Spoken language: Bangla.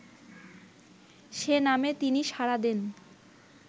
সে নামে তিনি সাড়া দেন